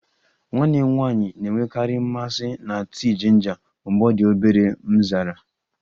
Nwanne m nwanyị na-enwekarị mmasị na tii jinja mgbe ọ dị obere, m zara